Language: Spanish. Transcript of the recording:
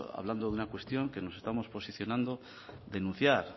hablando de una cuestión que nos estamos posicionando denunciar